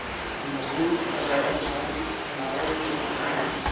We must do as our own scientists and our own children demand.